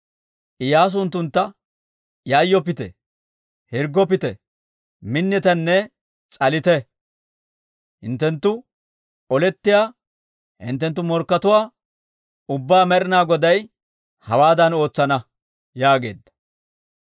Iyyaasu unttuntta, «Yayyoppite; hirggoppite; minnitenne s'alite. Hinttenttu olettiyaa hinttenttu morkkatuwaa ubbaa Med'ina Goday hawaadan ootsana» yaageedda.